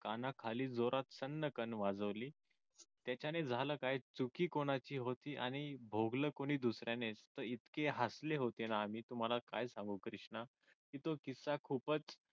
जोरात कानाखाली जोरात सन्नकण वाजवली याच्याने झालं काय चुकी कोणाची होती आणि भोगलं कोणी दुसऱ्याने इतके हसले होते ना आम्ही तुम्हाला काय सांगू कृष्णा तो तुमच्या सोबत